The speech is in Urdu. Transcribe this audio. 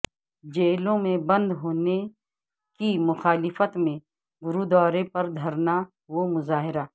جیلو ں میں بند ہونے کی مخالفت میں گرود وارے پر دھرنا و مظاہرہ